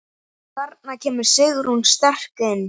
Þarna kemur Sigrún sterk inn.